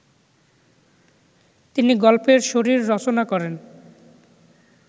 তিনি গল্পের শরীর রচনা করেন